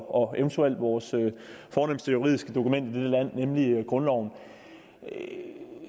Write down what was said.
og eventuelt vores fornemste juridiske dokument land nemlig grundloven